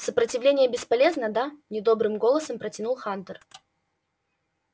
сопротивление бесполезно да недобрым голосом протянул хантер